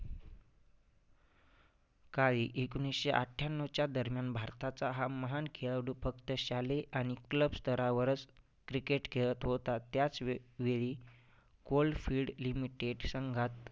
काळी एकोणीसशे अठ्ठ्याण्णवच्या दरम्यान भारताचा हा महान खेळाडू फक्त शालेय आणि club स्थरावरच cricket खेळत होता. त्याचवे वेळी Coal field limited संघात